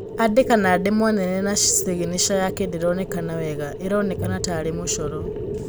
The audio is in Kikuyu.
Andĩka na ndemwa nene na ciginaca yake ndĩronekana wega. ĩronekana tarĩ mũcoro.